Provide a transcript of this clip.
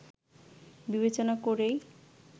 বিবেচনা করেই